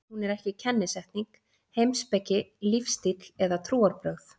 Hún er ekki kennisetning, heimspeki, lífstíll eða trúarbrögð.